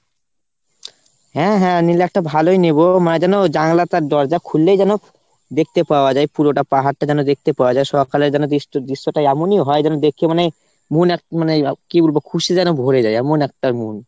হ্যাঁ হ্যাঁ নিলে একটা ভালোই নেবো, মানে যেন জানলাটা দরজা খুললেই যেন দেখতে পাওয়া যায় পুরোটা পাহাড়টা যেন দেখতে পাওয়া যায়। সকালে যেন দৃশ্য~ দৃশ্যটা এমনি হয় যেন দেখে মানে মন কি বলবো খুশি যেন ভরে যায় এমন একটা মন।